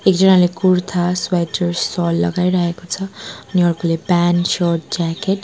एकजनाले कुर्ता स्वेटर स्वल लगाइरहेको छ अनि अर्कोले प्यान्ट शर्ट ज्याकेट ।